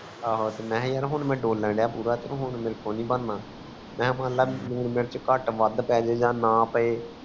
ਏਹੋ ਮੈਂ ਕਿਹਾ ਯਾਰ ਮੈਂ ਡੋਲਣ ਰਿਹਾ ਪੂਰਾ ਹੁਣ ਮੇਰਕੋ ਨੀ ਬਣਨਾ ਲੂਣ ਮਿਰਚ ਕੱਟ ਬਾਅਦ ਪੈ ਜੇ ਆ ਨਾ ਪਏ